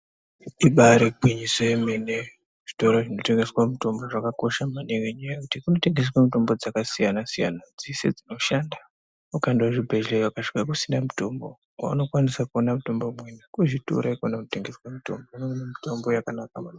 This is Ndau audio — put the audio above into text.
Ibari gwinyiso yemene zvitoro zvinotengese mitombo zvakakosha maningi ngenyaya yekuti kunotengeswe mitombo dzakasiyanasiyana dzese dzinoshanda. Ukaende kuzvibhedhleya ukasvike kusina mutombo kwaunokwanise kuone mutombo imweni kuzvitoro ikona kunotengeswe mutombo. Kunoonekwa mitombo yakanaka maningi.